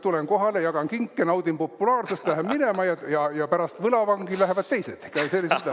Tulen kohale, jagan kinke, naudin populaarsust, lähen minema, ja pärast võlavangi lähevad teised.